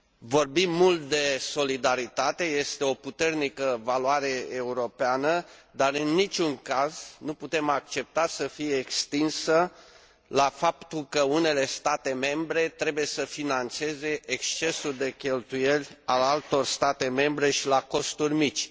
Vorbim mult de solidaritate, este o puternică valoare europeană, dar, în niciun caz, nu putem accepta să fie extinsă la faptul că unele state membre trebuie să finanțeze excesul de cheltuieli al altor state membre și la costuri mici.